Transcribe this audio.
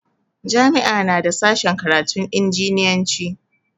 Jami'a na da sashen karatun injiniyanci.